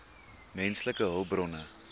menslike hulpbronne